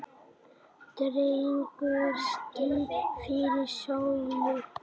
Dregur ský fyrir sólu!